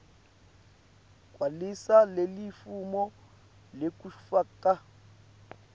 gcwalisa lelifomu lekufaka